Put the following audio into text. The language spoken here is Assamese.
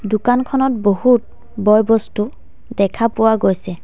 দোকানখনত বহুত বয় বস্তু দেখা পোৱা গৈছে।